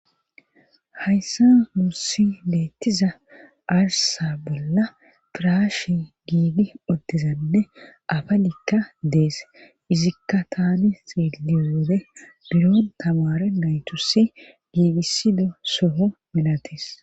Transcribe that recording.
hayssan nussi beettiza arsa bolla piraashe giigi utianne afalikka dees izikka tani xiliy wode biro tamare naytussi giigisido soho milates